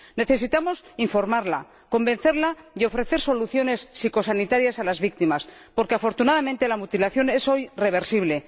Necesitamos informar, convencer y ofrecer soluciones psicosanitarias a las víctimas, porque afortunadamente la mutilación es hoy reversible.